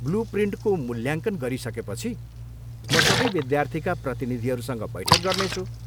Blue प्रिन्टको मुल्याङ्कन गरिसकेपछि म सबै विद्यार्थीका प्रतिनिधिहरूसँग बैठक गर्नेछु।